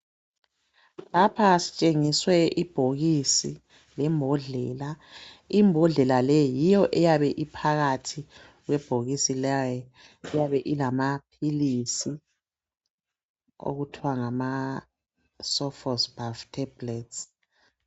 Lapha sitshengiswe ibhokisi lembodlela, imbodlela leyi yiyo eyabe iphakathi kwebhokisi leli iyabe ilamaphilisi okuthwa ngama sofosbuvir tables